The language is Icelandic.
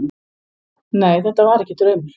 Nei, þetta var ekki draumur.